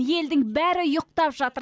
елдің бәрі ұйықтап жатыр